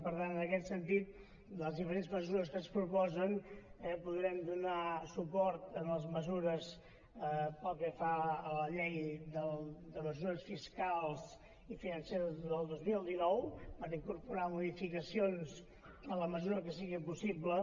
per tant en aquest sentit de les diferents mesures que es proposen podrem donar suport a les mesures pel que fa a la llei de mesures fiscals i financeres del dos mil dinou per incorporar modificacions en la mesura que sigui possible